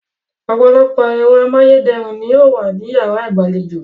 Ọ̀pọ̀lọpọ̀ ẹ̀rọ amáyédẹrùn ni yóò wà ní yàrá ìgbàlejò